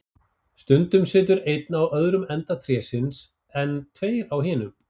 Stundum situr einn á öðrum enda trésins, en tveir á hinum.